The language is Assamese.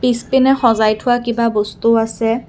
পিছপিনে সজাই থোৱা কিবা বস্তুও আছে।